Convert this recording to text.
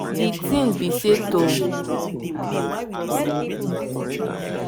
di ting be say to if u understand ur traditions wella una two go fit relate wella and treatments go easy for una um